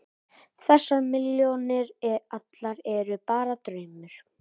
Þessar milljónir allar eru bara draumur.